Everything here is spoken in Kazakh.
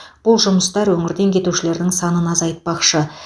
бұл жұмыстар өңірден кетушілердің санын азайтпақшы